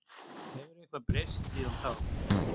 Hefur eitthvað breyst síðan þá?